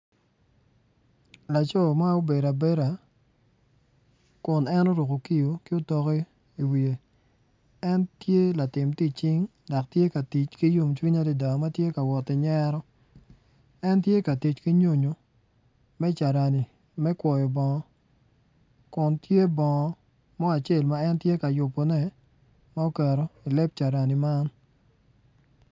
Laco ma obedo abeda kun en oruko kiyo ki otok iwiye en tye latim tic cing ma tye ka tic ki yom cwiny adada ma tye ka woti nyero en tye ka tic ki nyonyo me carani me kwoyo bongo kun tye bongo mo acel ma en tye ka yubone ma oketo i leb caranine.